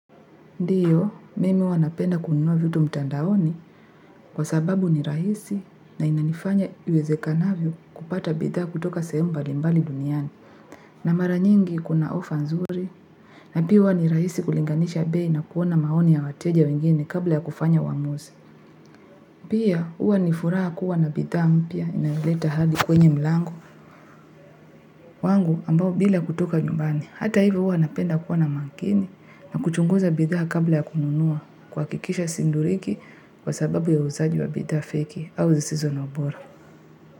Ndiyo, mimi huwa napenda kununua vitu mtandaoni kwa sababu ni rahisi na inanifanya iwezekanavyo kupata bidhaa kutoka sehemu mbalimbali duniani na mara nyingi kuna ofaa nzuri na pia huwa ni rahisi kulinganisha bei na kuona maoni ya wateja wengine kabla ya kufanya uamuzi. Pia huwa ni furaha kuwa na bidhaa mpya inaleta hadi kwenye mlango wangu ambao bila kutoka nyumbani. Hata hivyo huwa napenda kuwa na makini na kuchunguza bidhaa kabla ya kununua kuhakikisha sidhuriki kwa sababu ya uuzaji wa bidhaa feki au zisizo na ubora.